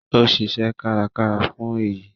Ó ṣiṣẹ́ kárakára fún èyí